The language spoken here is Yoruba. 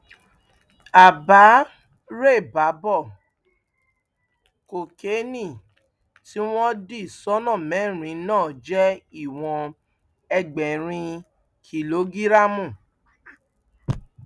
àbárèbábọ kokéènì tí wọn dì sọnà mẹrin náà jẹ ìwọn ẹgbẹrin kìlógíráàmù